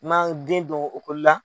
i ma' den don la